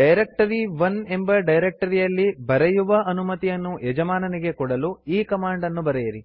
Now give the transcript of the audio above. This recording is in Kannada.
ಡೈರೆಕ್ಟರಿ1 ಎಂಬ ಡೈರೆಕ್ಟರಿಯಲ್ಲಿ ಬರೆಯುವ ಅನುಮತಿಯನ್ನು ಯಜಮಾನನಿಗೆ ಕೊಡಲು ಈ ಕಮಾಂಡ್ ಅನ್ನು ಬರೆಯಿರಿ